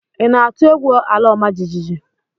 Ị na-atụ egwu ala ọma jijiji?